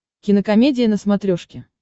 кинокомедия на смотрешке